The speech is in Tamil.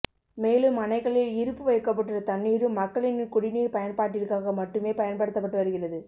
மேலும் அணைகளில் இருப்பு வைக்கப்பட்டுள்ள தண்ணீரும் மக்களின் குடிநீர் பயன்பாட்டிற்காக மட்டுமே பயன்படுத்தப்பட்டு வருகிறது